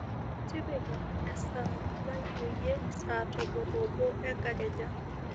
tipika esaa mainyoyie saa tomon obo enkakenya